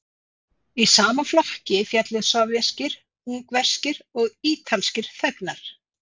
Í sama flokk féllu sovéskir, ungverskir og ítalskir þegnar.